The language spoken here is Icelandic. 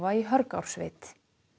í Hörgársveit